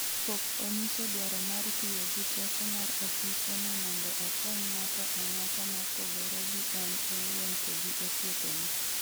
pok onyiso dwaro mar tiyo gi teko mar ofise no mondo okony ng'ato ang'ata mopogore gi en owuon to gi osiepene'